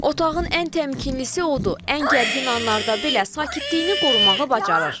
Otağın ən təmkinlisi odur, ən gərgin anlarda belə sakitliyini qorumağa bacarır.